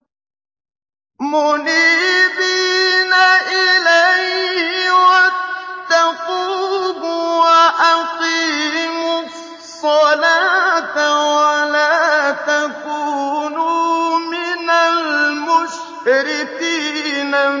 ۞ مُنِيبِينَ إِلَيْهِ وَاتَّقُوهُ وَأَقِيمُوا الصَّلَاةَ وَلَا تَكُونُوا مِنَ الْمُشْرِكِينَ